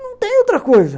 Não tem outra coisa.